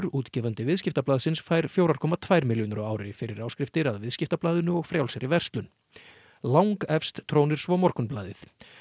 útgefandi Viðskiptablaðsins fær fjóra komma tvær milljónir á ári fyrir áskriftir að Viðskiptablaðinu og Frjálsri verslun langefst trónir svo Morgunblaðið